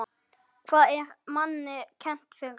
Hvað er manni kennt fyrst?